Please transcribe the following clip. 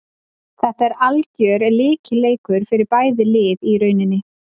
Þetta er algjör lykilleikur fyrir bæði lið í rauninni.